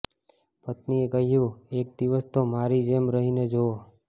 પત્નિએ કહ્યું એક દિવસ તો મારી જેમ રહી ને જોવો